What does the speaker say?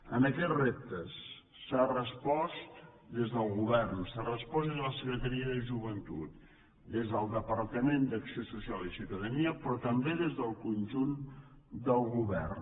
a aquests reptes s’ha respost des del govern s’ha respost des de la secretaria de joventut des del departament d’acció social i ciutadania però també des del conjunt del govern